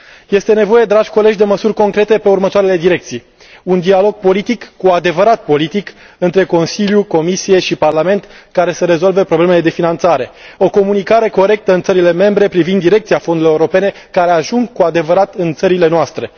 Este nevoie, dragi colegi, de măsuri concrete în următoarele direcții un dialog politic, cu adevărat politic, între Consiliu, Comisie și Parlament, care să rezolve problemele de finanțare, o comunicare corectă în țările membre privind direcția fondurilor europene care ajung cu adevărat în țările noastre.